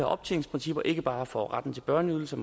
optjeningsprincipper ikke bare for retten til børneydelser